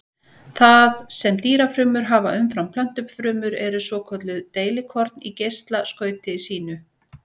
Það sem dýrafrumur hafa umfram plöntufrumur eru svokölluð deilikorn í geislaskauti sínu.